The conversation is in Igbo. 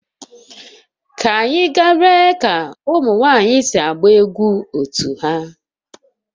Ka anyị gaa lee ka ụmụ nwanyị na-agba egwu otu ha